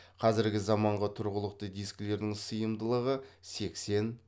қазіргі заманғы тұрғылықты дискілердің сиымдылығы сексен